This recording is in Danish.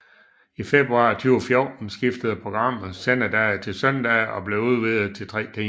I februar 2014 skiftede programmet sendedag til søndage og blev udvidet til tre timer